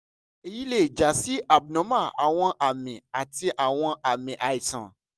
sibẹsibẹ niwon ọmọ rẹ gba nikan x-ray nitorinaa ko um si aibalẹ fun ifarahan itanna